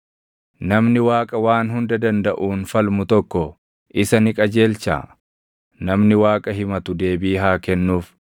“Namni Waaqa Waan Hunda Dandaʼuun falmu tokko isa ni qajeelchaa? Namni Waaqa himatu deebii haa kennuuf!”